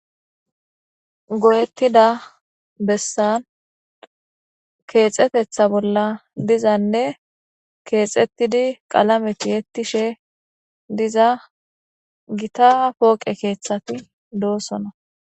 goyettida bessan keexetetha bolla dizanne keexettidi qalameti hettishe diza gita pooqe keeththati doosona